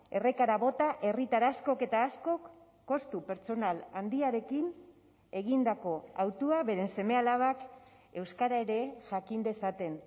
errekara bota herritar askok eta askok kostu pertsonal handiarekin egindako hautua beren seme alabak euskara ere jakin dezaten